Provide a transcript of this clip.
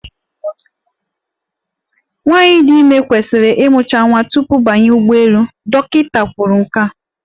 Nwaanyị dị ezigbo ime kwesịrị ịmụcha nwa tupu bawa ụgbọelu, dọkịịta kwuru nke a.